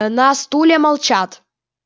на стуле молчат